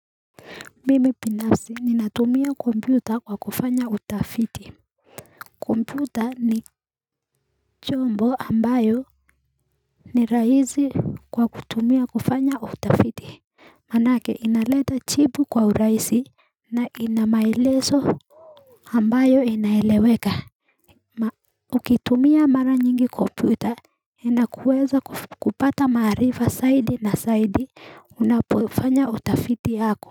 Mimi biinafsi ninatumia kompyuta kwa kufanya utafiti kompyuta ni chombo ambayo ni rahisi kwa kutumia kufanya utafiti maanake inaleta jibu kwa urahisi na inamaelezo ambayo inaeleweka. Ukitumia mara nyingi kompyuta, inakuweza kupata maarifa zaidi na zaidi unapofanya utafiti yako.